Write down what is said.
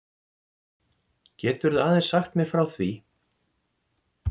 Geturðu aðeins sagt mér frá því?